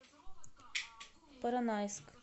поронайск